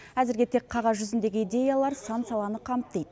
әзірге тек қағаз жүзіндегі идеялар сан саланы қамтиды